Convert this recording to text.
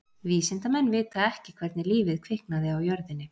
Vísindamenn vita ekki hvernig lífið kviknaði á jörðinni.